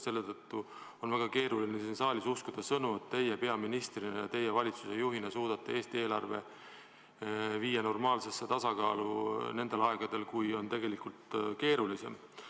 Selle tõttu on väga keeruline siin saalis uskuda sõnu, et teie peaministrina ja teie valitsusjuhina suudate Eesti eelarve viia normaalsesse tasakaalu nendel aegadel, mis on keerulisemad.